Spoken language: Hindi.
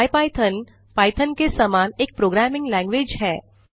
इपिथॉन पाइथॉन के समान एक प्रोग्रामिंग लैंवेज है